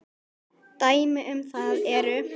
Dæmi um það eru